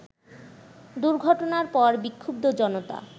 দুর্ঘটনার পর বিক্ষুব্ধ জনতা